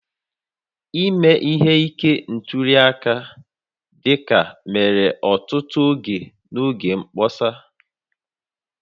Ime ihe ike ntuli aka dịka mere ọtụtụ oge n'oge mkpọsa